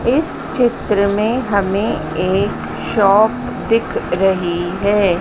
इस चित्र में हमें एक शॉप दिख रही है।